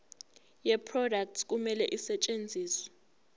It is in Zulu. yeproduct kumele isetshenziswe